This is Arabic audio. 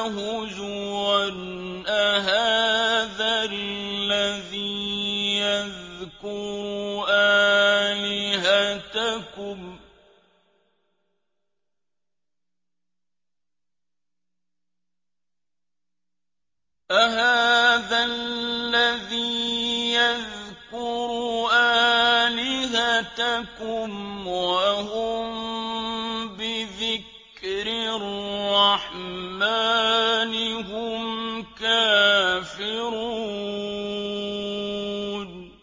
هُزُوًا أَهَٰذَا الَّذِي يَذْكُرُ آلِهَتَكُمْ وَهُم بِذِكْرِ الرَّحْمَٰنِ هُمْ كَافِرُونَ